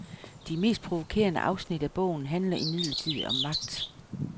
De mest provokerende afsnit af bogen handler imidlertid om magt.